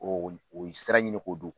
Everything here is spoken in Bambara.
o ye sira in de ko don